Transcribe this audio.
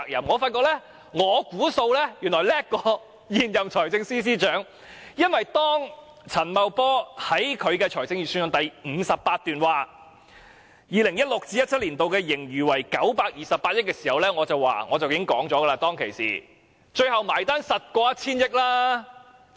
我發現我所作估算似乎更勝現任財政司司長，因為當陳茂波在預算案第58段指出 2016-2017 年度盈餘預計為928億元時，我已斷言最後的結算數字肯定超過 1,000 億元。